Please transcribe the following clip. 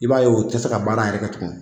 I b'a ye o te se ka baara yɛrɛ kɛ tugun